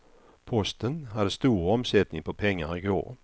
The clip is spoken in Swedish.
Posten hade stor omsättning på pengar i går.